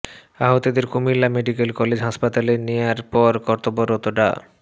আহতদের Comilla medical college হাসপাতালে নেয়ার পর কর্তব্যরত ডা